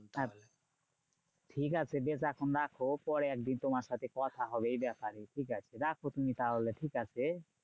আচ্ছা ঠিক আছে বেশ এখন রাখো পরে একদিন তোমার সাথে কথা হবে এই ব্যাপারে। ঠিক আছে রাখো তুমি তাহলে, ঠিকাছে?